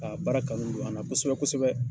A baara kanu don a na kosɛbɛ kosɛbɛ.